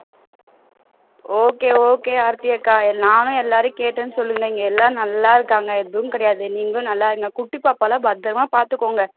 okay okay Aarthi அக்கா நானும் எல்லாரையும் கேட்டேன்னு சொல்லுங்க இங்க எல்லாரும் நல்லா இருக்காங்க எதுவுமே கிடையாது நீங்களும் நல்லா இருங்க குட்டி பாப்பாலாம் பத்திரமா பாத்துக்கோங்க